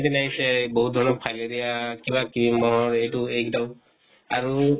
দিন আহিছে, বহুত ধৰণৰ fileria কিবা ক্ৰ্মা এইটো একদম আৰু